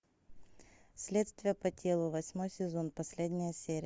следствие по делу восьмой сезон последняя серия